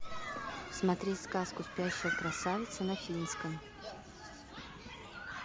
смотреть сказку спящая красавица на финском